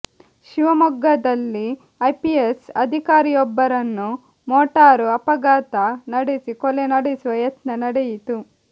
ಶಿವಮೊಗ್ಗದಲ್ಲಿ ಐಪಿಎಸ್ ಅಧಿಕಾರಿಯೊಬ್ಬರನ್ನು ಮೋಟಾರು ಅಪಘಾತ ನಡೆಸಿ ಕೊಲೆ ನಡೆಸುವ ಯತ್ನ ನಡೆಯಿತು